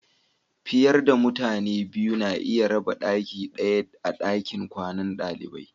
Fiyar da mutane biyu na iya rabba daki daya a'dakin kwanan dalibai.